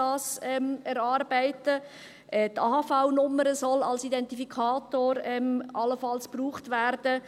Die AHV-Nummer soll allenfalls als Identifikator gebraucht werden.